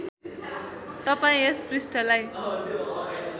तपाईँ यस पृष्ठलाई